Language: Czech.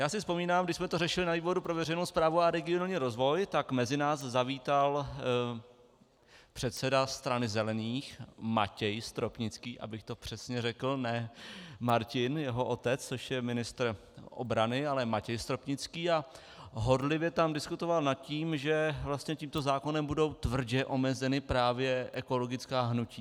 Já si vzpomínám, když jsme to řešili na výboru pro veřejnou správu a regionální rozvoj, tak mezi nás zavítal předseda Strany zelených Matěj Stropnický, abych to přesně řekl, ne Martin, jeho otec, což je ministr obrany, ale Matěj Stropnický, a horlivě tam diskutoval nad tím, že vlastně tímto zákonem budou tvrdě omezena právě ekologická hnutí.